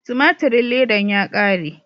Tumaturin ledan ya kare.